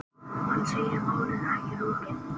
Hann segir málinu ekki lokið.